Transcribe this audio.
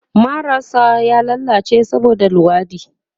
Marar sa ya lallace saboda luwaɗi